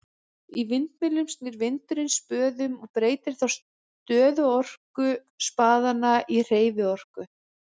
Í vindmyllum snýr vindurinn spöðum og breytir þá stöðuorku spaðanna í hreyfiorku.